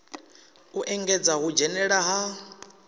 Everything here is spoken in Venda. u engedza u dzhenela ha